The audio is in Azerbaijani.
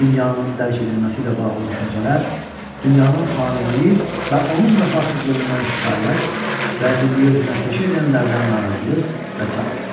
Dünyanın dərk edilməsi ilə bağlı düşüncələr, dünyanın faniliyi və onun vəfasızlığından şikayət, rəzilliyi özünə peşə edənlərdən narazılıq və sairə.